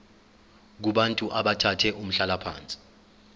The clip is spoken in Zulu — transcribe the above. kubantu abathathe umhlalaphansi